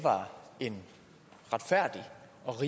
jeg